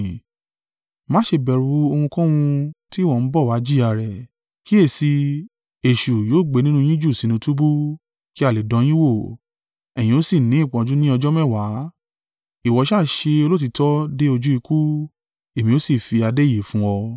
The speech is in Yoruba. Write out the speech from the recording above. Má ṣe bẹ̀rù ohunkóhun tí ìwọ ń bọ wá jìyà rẹ̀. Kíyèsi i, èṣù yóò gbé nínú yín jù sínú túbú, kí a lè dán yin wò; ẹ̀yin ó sì ní ìpọ́njú ní ọjọ́ mẹ́wàá, ìwọ ṣa ṣe olóòtítọ́ dé ojú ikú, èmi ó sì fi adé ìyè fún ọ.